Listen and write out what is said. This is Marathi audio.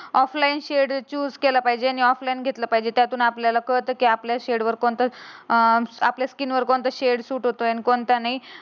ऑफलाइन सेड चुस केला पाहिजे. आणि ऑफलाइन घेतला पाहिजे. त्यातून आपल्याला कळतं की आपल्या सेड वर कोणता अं आपल्या स्किन वर कोणता शेड होतो आणि कोणता नाही.